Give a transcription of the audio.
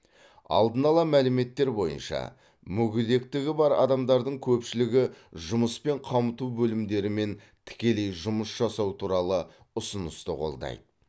алдын ала мәліметтер бойынша мүгедектігі бар адамдардың көпшілігі жұмыспен қамту бөлімдерімен тікелей жұмыс жасау туралы ұсынысты қолдайды